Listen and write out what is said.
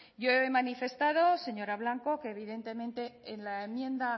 yo he manifestado señora blanco que evidentemente en la enmienda